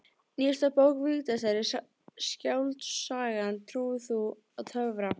Nýjasta bók Vigdísar er skáldsagan Trúir þú á töfra?